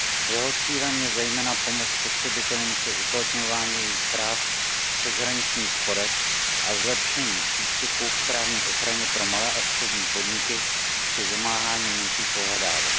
Jeho cílem je zejména pomoc spotřebitelům při uplatňování jejich práv v přeshraničních sporech a zlepšení přístupu k právní ochraně pro malé a střední podniky při vymáhání menších pohledávek.